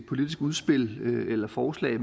politisk udspil eller forslag